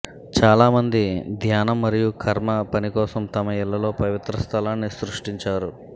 చాలామంది ధ్యానం మరియు కర్మ పని కోసం తమ ఇళ్లలో పవిత్ర స్థలాన్ని సృష్టించారు